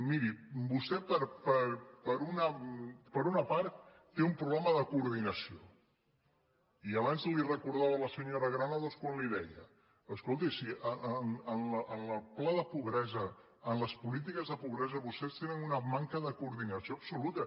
miri vostè per una part té un problema de coordinació i abans li ho recordava la se·nyora granados quan li deia escolti si en el pla de pobresa en les polítiques de pobresa vostès tenen una manca de coordinació absoluta